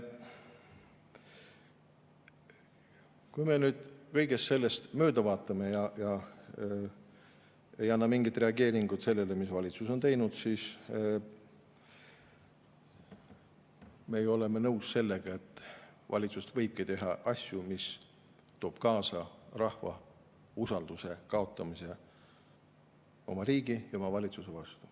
Kui me nüüd kõigest sellest mööda vaatame, ei anna mingit reageeringut sellele, mis valitsus on teinud, siis me oleme ju nõus sellega, et valitsus võibki teha asju, mis toob kaasa rahva usalduse kaotamise oma riigi ja oma valitsuse vastu.